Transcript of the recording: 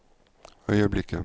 øyeblikket